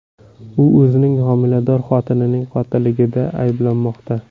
U o‘zining homilador xotinining qotilligida ayblanmoqda.